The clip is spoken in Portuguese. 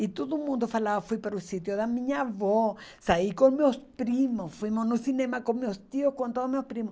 E todo mundo falava, fui para o sítio da minha avó, saí com meus primos, fomos no cinema com meus tios, com todos meus primos.